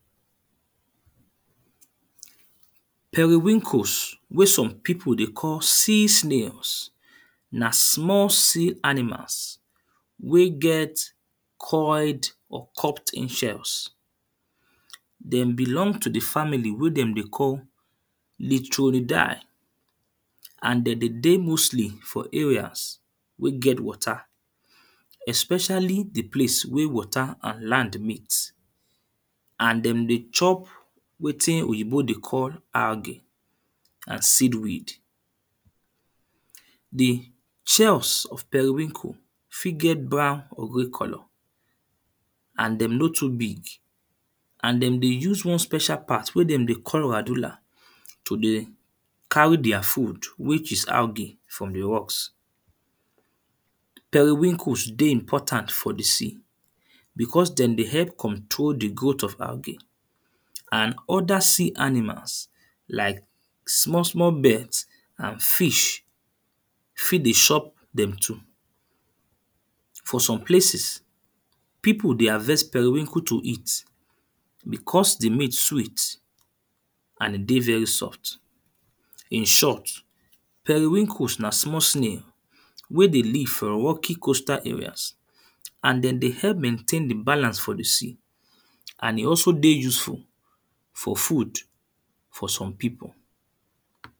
Periwinkles wey some people dey call sea snails, na small sea animals wey get coiled or cupped-in shells. Them belong to the family wey them dey call litronidy and then dey dey mostly for areas wey get water, especially the place wey water and land meet and them dey chop wetin oyinbo dey call arlgey and seed weed. The shells of periwinkle fit get brown or grey colour and them nor too big and them dey use one special part wey them dey call radular to dey carry their food which is algey from the rocks. Periwinkle dey important for the sea because them dey help control the growth of algey and other sea animals like small small birds and fish fit dey chop them too. For some places people dey harvest periwinkle to eat because the meat sweet and e dey very soft. In short, periwinkles na small snail wey dey live for rocky coastal areas and then dey help maintain the balance for the sea, and e also dey useful for food for some people.